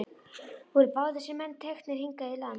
Voru báðir þessir menn teknir hingað í land.